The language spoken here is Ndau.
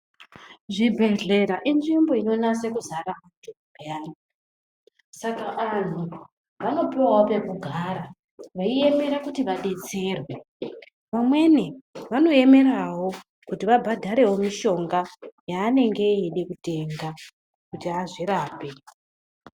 Zvibhehlera inzvimbo inonase kuzara muntu peyani, saka anhu vanopuwawo pekugara veiemera kuti vadetserwe .Vamweni vanoemerawo kuti vabhadhare mushona yaanenge eide kutenga kuti azvirape.